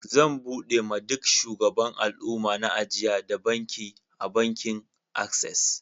Zan buɗe ma duk shugaban alumma na ajia da banki a bankin access.